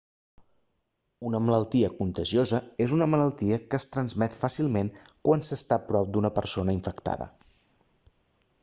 una malaltia contagiosa és una malaltia que es transmet fàcilment quan s'està a prop d'una persona infectada